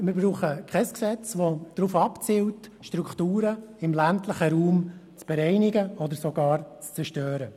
Wir brauchen kein Gesetz, das darauf abzielt, Strukturen im ländlichen Raum zu bereinigen oder sogar zu zerstören.